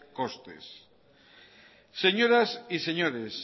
costes señoras y señores